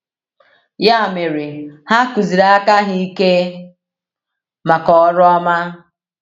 Ya mere, ha kụziri aka ha ike maka ọrụ ọma.”